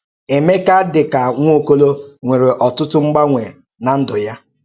Èméká, dị ka Nwaọ́kò̩ló̩, nwèrè ọ̀tụ̀tụ̀ m̀gbàńwè n’ndú̄ ya.